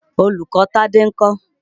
Olùkọ́ Tádé ń kọ́?